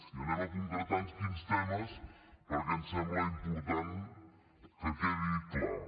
i anem a concretar en quins temes perquè em sembla important que quedi clar